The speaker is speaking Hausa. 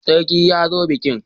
Sarki ya zo bikin.